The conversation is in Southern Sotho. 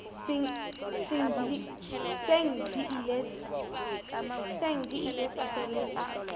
seng di ile tsa sebetsa